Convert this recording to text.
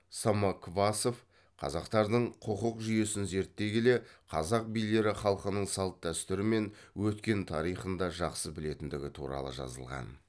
самоквасов қазақтардың құқық жүйесін зерттей келе қазақ билері халқының салт дәстүрі мен өткен тарихын да жақсы білетіндігі туралы жазылған